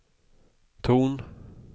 ton